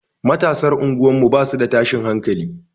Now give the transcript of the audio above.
Matasan unguwar mu basu da tashin hankali.